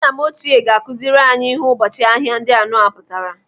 Nna m ochie ga-akụziri anyị ihe ụbọchị ahịa anọ ndị pụtara.